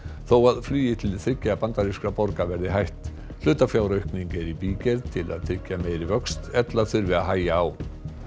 þó að flugi til þriggja bandarískra borga verði hætt hlutafjáraukning er í bígerð til að tryggja meiri vöxt ella þurfi að hægja á